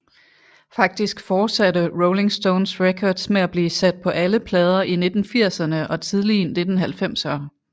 Faktisk forsatte Rolling Stones Records med at blive sat på alle plader i 1980erne og tidlige 1990er